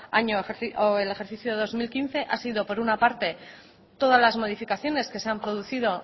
año el ejercicio dos mil quince ha sido por una parte todas las modificaciones que se han producido